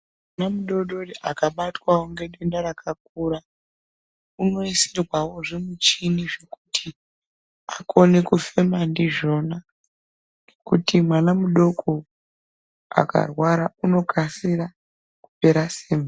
Mwana mu dodori aka batwawo nge denda rakakura unoisirwawo zvi michini zvekuti akone kufema ndizvona ngekuti mwana mudoko akarwara uno kasira kupera simba.